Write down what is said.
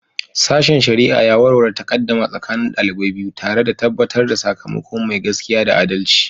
Sashen shari'a ya warware takaddama tsakanin ɗalibai biyu, tare da tabbatar da sakamako mai gaskiya da adalci.